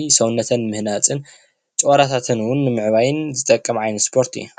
ከዓ ሰውነተን ንምህናፅ ጭዋዳታተን እውን ንምዕባይን ዝጠቅም ዓይነት ስፖርት እዩ፡፡